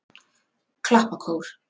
Klappakór